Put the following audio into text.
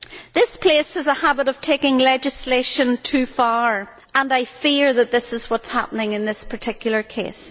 This place has a habit of taking legislation too far, and I fear that this is what is happening in this particular case.